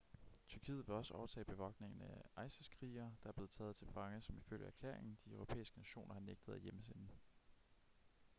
tyrkiet vil også overtage bevogtningen af isis-krigere der er blevet taget til fange som ifølge erklæringen de europæiske nationer har nægtet at hjemsende